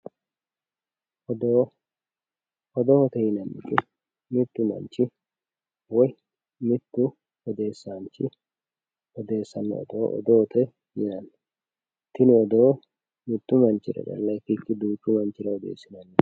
odoo odoote yinannihu mittu manchi woyi mittu odeessaanchi odessannore odoote yinanni tini odoo mitu manchira calla ikkikkinni duuchu mannira odeessinannite